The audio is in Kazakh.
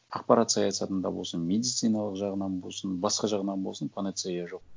ақпарат саясатында болсын медициналық жағынан болсын басқа жағынан болсын панацея жоқ